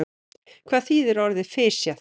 Hvað þýðir orðið fisjað?